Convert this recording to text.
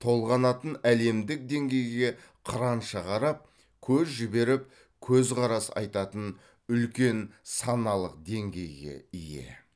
толғанатын әлемдік деңгейге қыранша қарап көз жіберіп көзқарас айтатын үлкен саналық деңгейге ие